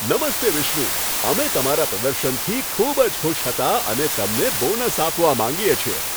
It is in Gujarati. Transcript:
નમસ્તે વિષ્ણુ, અમે તમારા પ્રદર્શનથી ખૂબ જ ખુશ હતા અને તમને બોનસ આપવા માંગીએ છીએ.